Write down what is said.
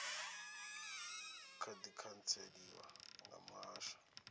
kha di khantseliwa nga muhasho